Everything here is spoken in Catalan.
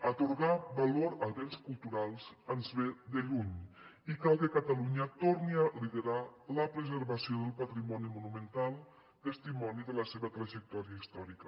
atorgar valor a béns culturals ens ve de lluny i cal que catalunya torni a liderar la preservació del patrimoni monumental testimoni de la seva trajectòria històrica